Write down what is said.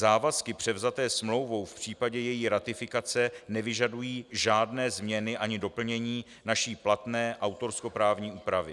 Závazky převzaté smlouvou v případě její ratifikace nevyžadují žádné změny ani doplnění naší platné autorskoprávní úpravy.